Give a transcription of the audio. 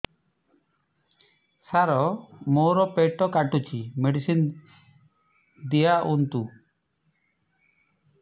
ସାର ମୋର ପେଟ କାଟୁଚି ମେଡିସିନ ଦିଆଉନ୍ତୁ